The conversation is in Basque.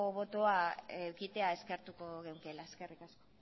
botoa edukitzea eskertuko genukeela eskerrik asko